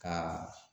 Ka